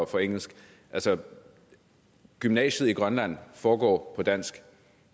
for engelsk altså gymnasiet i grønland foregår på dansk